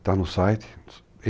Está no site.